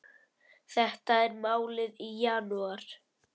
Þetta er málið í janúar.